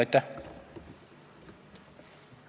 Aitäh!